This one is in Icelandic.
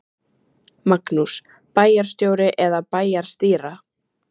Magnús: Bæjarstjóri eða bæjarstýra?